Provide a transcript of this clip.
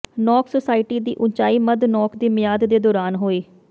ਨੋਕ ਸੁਸਾਇਟੀ ਦੀ ਉਚਾਈ ਮੱਧ ਨੋਕ ਦੀ ਮਿਆਦ ਦੇ ਦੌਰਾਨ ਹੋਈ